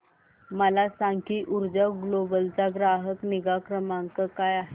मला सांग की ऊर्जा ग्लोबल चा ग्राहक निगा क्रमांक काय आहे